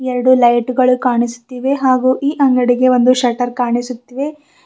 ಎರಡು ಲೈಟ್ ಗಳು ಕಾಣಿಸ್ತಿವೆ ಹಾಗೂ ಈ ಅಂಗಡಿಗೆ ಒಂದು ಶಟ್ಟರ್ ಕಾಣಿಸುತ್ತಿದೆ.